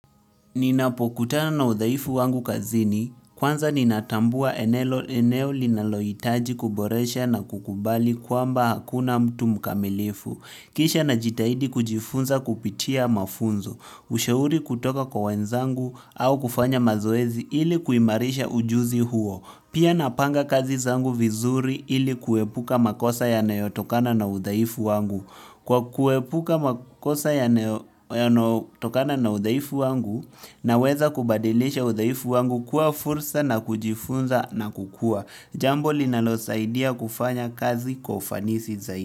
Ninapokutana na udhaifu wangu kazini kwanza ninatambua eneo linalohitaji kuboresha na kukubali kwamba hakuna mtu mkamilifu kisha najitahidi kujifunza kupitia mafunzo, ushauri kutoka kwa wenzangu au kufanya mazoezi ili kuimarisha ujuzi huo. Pia napanga kazi zangu vizuri ili kuepuka makosa yanayotokana na udhaifu wangu. Kwa kuepuka makosa yanayotokana na udhaifu wangu na weza kubadilisha udhaifu wangu kuwa fursa na kujifunza na kukua. Jambo linalo saidia kufanya kazi kwa ufanisi zaidi.